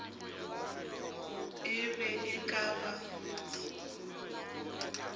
e be e ka ba